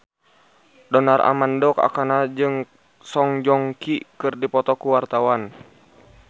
Donar Armando Ekana jeung Song Joong Ki keur dipoto ku wartawan